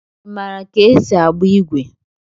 Ị maara ka esi agba igwe?